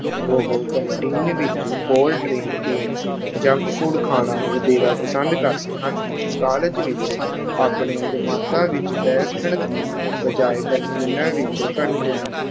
ਉਹ canteen ਵਿੱਚ cold drink ਪੀਣ, junk food ਖਾਣਾ ਵਧੇਰੇ ਪਸੰਦ ਕਰਦੇ ਹਨ। college ਵਿੱਚ ਆਪਣੀਆਂ ਜਮਾਤਾਂ ਵਿੱਚ ਬੈਠਣ ਦੀ ਬਜਾਏ canteens ਵਿੱਚ ਘੰਟਿਆਂ